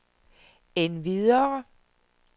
endvidere